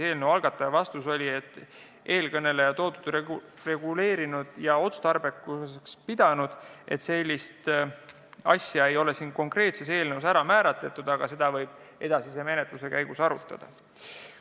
Eelnõu algataja vastus oli, et seda ei ole konkreetses eelnõus määratletud, aga seda võib edasise menetluse käigus arutada.